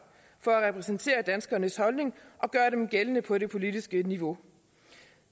for at repræsentere danskernes holdninger og gøre dem gældende på det politiske niveau